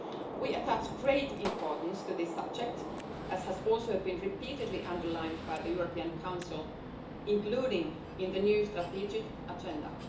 We attach great importance to this subject, as has been repeatedly underlined by the European Council, including in the new Strategic Agenda.